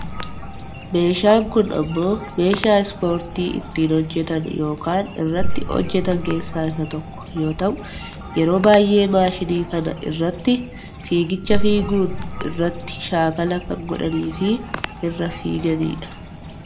Meeshaan kun ammoo meeshaa ispoortii ittiin hojjatan yookaan irratti hojjatan keessaa isa tokko yoo ta'u yeroo baayyee maashinii kana irratti fiigicha fiiguun irratti shaakala kan godhanii fi irra fiigani dha.